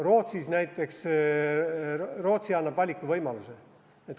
Rootsi näiteks annab valikuvõimaluse.